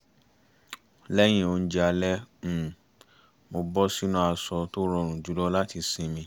lẹ́yìn oúnjẹ alẹ́ um mo bọ́ sínú aṣọ tó rọrùn jùlọ láti sinmi